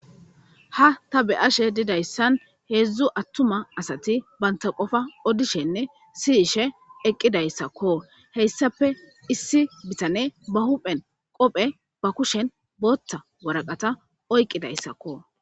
ha ta be ashe didayssan heedzdzu attuma asati banta qofa odishenne siyishe eqqidayssakko heyssafe issi bitane ba huphen qophe ba kushen bootta waraqata oyqqidayssakko